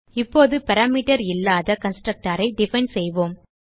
இப்போது பாராமீட்டர் இல்லாத கன்ஸ்ட்ரக்டர் ஐ டிஃபைன் செய்வோம்